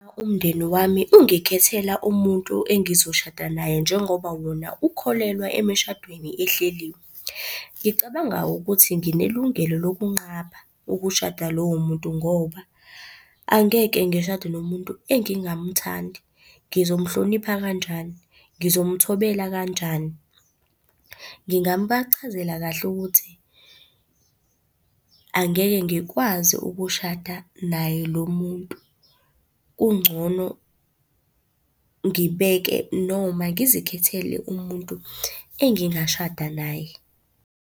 Uma umndeni wami ungikhethela umuntu engizoshada naye njengoba wona ukholelwa emishadweni ehleliwe, ngicabanga ukuthi nginelungelo lokunqaba ukushada lowo muntu ngoba, angeke ngishade nomuntu engingamthandi. Ngizomuhlonipha kanjani, ngizomuthobela kanjani? Ngingabachazela kahle ukuthi angeke ngikwazi ukushada naye lo muntu. Kungcono ngibeke noma ngizikhethele umuntu engingashada naye.